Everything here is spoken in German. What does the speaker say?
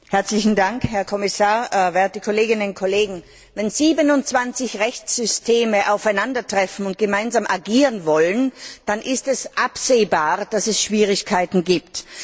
Herr Präsident, Herr Kommissar, werte Kolleginnen und Kollegen! Wenn 27 Rechtssysteme aufeinandertreffen und gemeinsam agieren wollen, dann ist es absehbar, dass es Schwierigkeiten gibt.